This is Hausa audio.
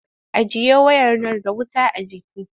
Ajiye wayar nan da wuta a jiki!